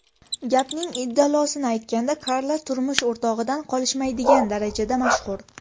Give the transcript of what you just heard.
Gapning indallosini aytganda, Karla turmush o‘rtog‘idan qolishmaydigan darajada mashhur.